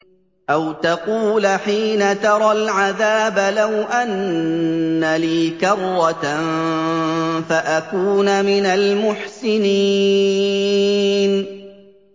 أَوْ تَقُولَ حِينَ تَرَى الْعَذَابَ لَوْ أَنَّ لِي كَرَّةً فَأَكُونَ مِنَ الْمُحْسِنِينَ